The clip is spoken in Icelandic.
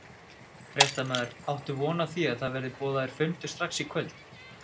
Fréttamaður: Áttu von á því að það verði boðaður fundur strax í kvöld?